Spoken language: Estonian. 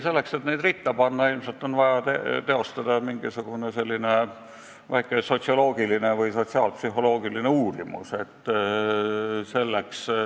Selleks, et neid ritta panna, on ilmselt vaja teostada mingisugune väike sotsioloogiline või sotsiaalpsühholoogiline uuring.